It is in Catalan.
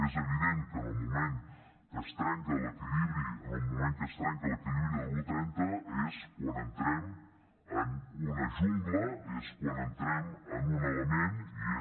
és evident que en el moment que es trenca l’equilibri en el moment que es trenca l’equilibri de l’un trenta és quan entrem en una jungla és quan entrem en un element i és